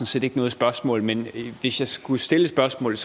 set ikke noget spørgsmål men hvis jeg skulle stille et spørgsmål